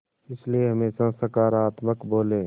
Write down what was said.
इसलिए हमेशा सकारात्मक बोलें